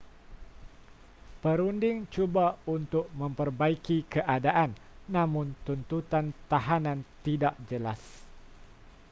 perunding cuba untuk memperbaiki keadaan namun tuntutan tahanan tidak jelas